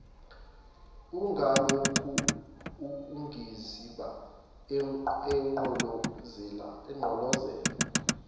ungalokhu ungiziba emgqolozela